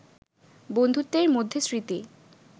বন্ধুত্বের মধ্যে স্মৃতি